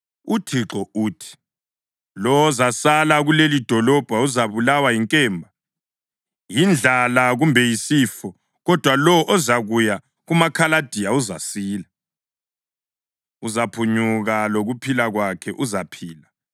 “ UThixo uthi: ‘Lowo ozasala kulelidolobho uzabulawa yinkemba, yindlala kumbe yisifo; kodwa lowo ozakuya kumaKhaladiya uzasila. Uzaphunyuka lokuphila kwakhe; uzaphila.’